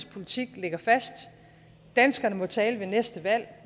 politik ligger fast danskerne må tale ved næste valg og